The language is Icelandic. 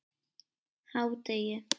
hádegi